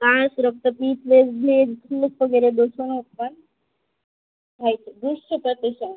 પંચ રક્તપિતને જે વગેરે ઉતપન્ન થાય છે દુસ્તપ્રતિસન